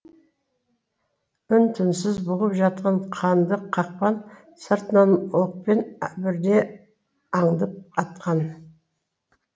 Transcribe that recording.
үнтүнсіз бұғып жатқан қанды қақпан сыртыңнан оқпен бірдей аңдып атқан